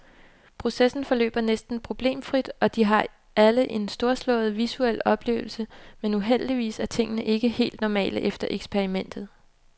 Processen forløber næsten problemfrit, og de har alle en storslået, visuel oplevelse, men uheldigvis er tingene ikke helt normale efter eksperimentet.